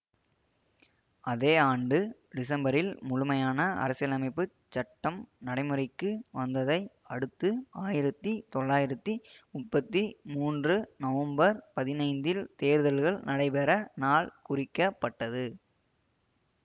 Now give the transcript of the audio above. அதே ஆண்டு டிசம்பரில் முழுமையான அரசியலமைப்பு சட்டம் நடைமுறைக்கு வந்ததை அடுத்து ஆயிரத்தி தொளாயிரத்தி முப்பத்தி மூன்று நவம்பர் பதினைந்தில் தேர்தல்கள் நடைபெற நாள் குறிக்கப்பட்டது